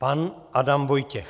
Pan Adam Vojtěch.